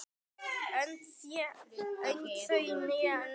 Önd þau né áttu